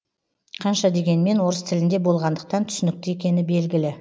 қанша дегенмен орыс тілінде болғандықтан түсінікті екені белгілі